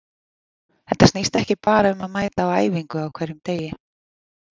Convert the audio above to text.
Þetta snýst ekki bara um að mæta á æfingu á hverjum degi.